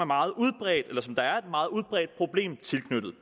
meget udbredt problem tilknyttet